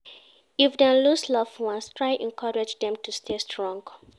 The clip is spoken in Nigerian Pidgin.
If Dem loose Loved ones try encourage Dem to stay strong